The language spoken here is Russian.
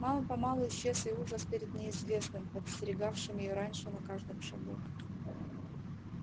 мало помалу исчез и ужас перед неизвестным подстерегавшим её раньше на каждом шагу